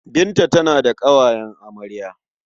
Binta tana da ƙawayen amarya.